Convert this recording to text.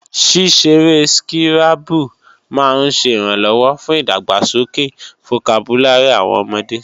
Ṣíṣeré skírábù máa ń ṣẹ ìrànlọ́wọ́ fún ìdàgbàsókè fokabúlárì àwọn ọmọde